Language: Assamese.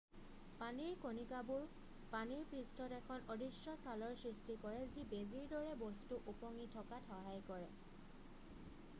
পানীৰ কণিকাবোৰে পানীৰ পৃষ্ঠত এখন অদৃশ্য ছালৰ সৃষ্টি কৰে যি বেজীৰ দৰে বস্তু উপঙি থকাত সহায় কৰে